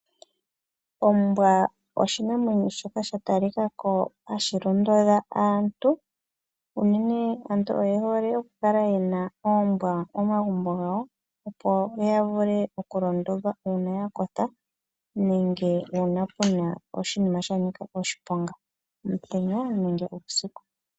Ombwa oshinamwenyo shoka sha talikako hashi londodha aantu. Unene aantu oyehole okukala yena oombwa momagumbo gawo, opo ya vule okulondodhwa uuna ya kotha, nenge uuna puna oshinima shanika oshiponga omutenya nenge uusiku.